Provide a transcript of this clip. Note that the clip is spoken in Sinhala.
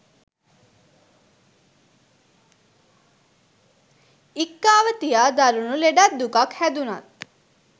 ඉක්කාව තියා දරුණු ලෙඩක් දුකක් හැදුනත්